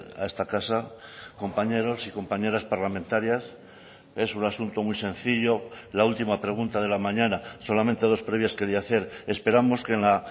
a esta casa compañeros y compañeras parlamentarias es un asunto muy sencillo la última pregunta de la mañana solamente dos previas quería hacer esperamos que en la